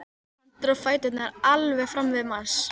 Hann dró fæturna alveg fram í mars.